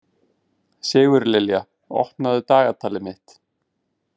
Sigurlilja, opnaðu dagatalið mitt.